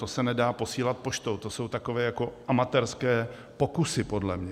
To se nedá posílat poštou, to jsou takové jako amatérské pokusy podle mě.